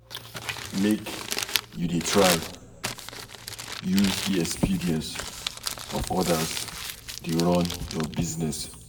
Make you dey try use di experience of odas dey run your business.